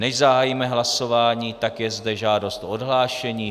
Než zahájíme hlasování, tak je zde žádost o odhlášení.